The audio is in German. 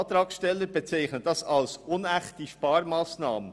Die Antragsteller bezeichnen dies als «unechte Sparmassnahmen».